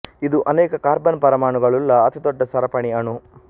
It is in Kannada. ಇದು ಅನೇಕ ಕಾರ್ಬನ್ ಪರಮಾಣುಗಳುಳ್ಳ ಅತಿ ದೊಡ್ಡ ಸರಪಣಿ ಅಣು